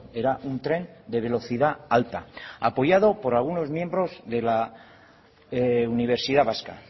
era un tren de velocidad alta apoyado por algunos miembros de la universidad vasca